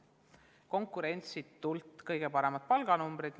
Neil on konkurentsitult kõige paremad palganumbrid.